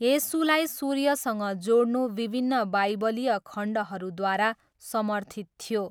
येशूलाई सूर्यसँग जोड्नु विभिन्न बाइबलीय खण्डहरूद्वारा समर्थित थियो।